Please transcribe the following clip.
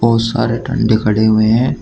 बहोत सारे खड़े हुए हैं।